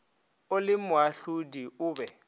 o le moahlodi o be